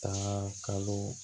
Taa kalo